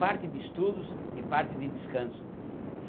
Parte de estudos e parte de descanso.